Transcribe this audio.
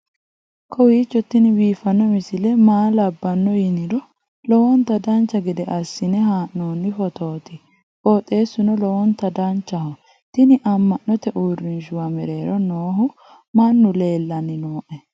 kowiicho tini biiffanno misile maa labbanno yiniro lowonta dancha gede assine haa'noonni foototi qoxeessuno lowonta danachaho. tini amma'note uurrinshshuwa mereero noohu mannu lellanni nooe